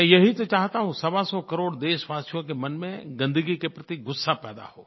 मैं यही तो चाहता हूँ सवासौ करोड़ देशवासियों के मन में गन्दगी के प्रति गुस्सा पैदा हो